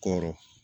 Kɔrɔ